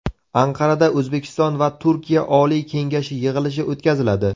Anqarada O‘zbekiston va Turkiya Oliy kengashi yig‘ilishi o‘tkaziladi.